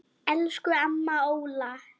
Elsku amma Óla.